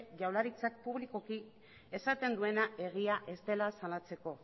jaurlaritzak publikoki esaten duena egia ez dela salatzeko